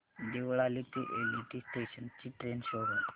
देवळाली ते LTT station ची train show कर